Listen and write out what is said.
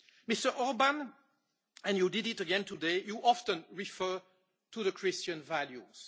Mr Orbán and you did it again today you often refer to Christian values.